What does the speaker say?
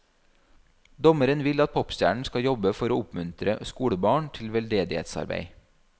Dommeren vil at popstjernen skal jobbe for å oppmuntre skolebarn til veldedighetsarbeid.